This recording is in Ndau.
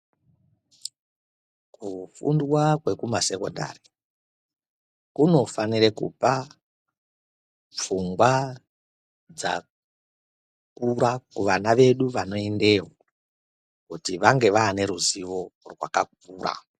Kufundwa kwekuma sekondari, kunofanire kupa pfungwa dzakura kuvana vedu vanoendeyo kuti wange wane ruziwo rwakakura.